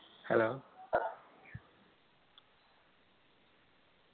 hello പറ